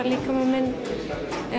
líkama minn